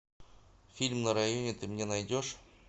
фильм на районе ты мне найдешь